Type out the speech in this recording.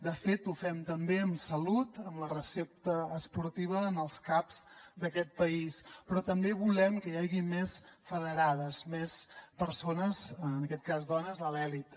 de fet ho fem també amb salut amb la recepta esportiva en els cap d’aquest país però també volem que hi hagi més federades més persones en aquest cas dones a l’elit